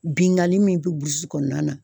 Bingani min bɛ burusi kɔnɔna na